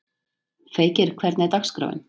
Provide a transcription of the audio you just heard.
Feykir, hvernig er dagskráin?